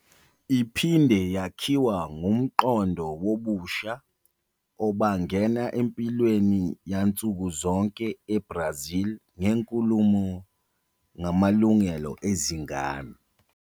Iphinde yakhiwa ngumqondo wobusha obangena empilweni yansuku zonke eBrazil ngenkulumo ngamalungelo ezingane.